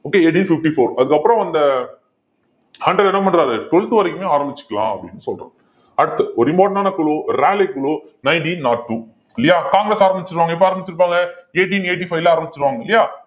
okay eighteen fifty-four அதுக்கப்புறம் அந்த Hunter என்ன பண்றாரு twelfth வரைக்குமே ஆரம்பிச்சுக்கலாம் அப்படின்னு சொல்றோ~ அடுத்து ஒரு important ஆன குழு rally குழு nineteen nought two இல்லையா காங்கிரஸ் ஆரம்பிச்சுருவாங்க எப்ப ஆரம்பிச்சிருப்பாங்க eighteen eighty-five ல ஆரம்பிச்சுருவாங்க இல்லையா